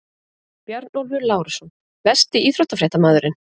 Bjarnólfur Lárusson Besti íþróttafréttamaðurinn?